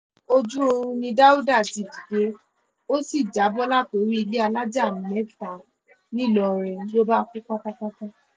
ojú oorun ni dáùdà ti dìde ó sì já bọ́ látorí ilé alájà mẹ́ta ńìlọrin ló bá kú pátápátá